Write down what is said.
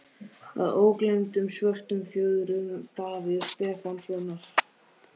Að ógleymdum Svörtum fjöðrum Davíðs Stefánssonar.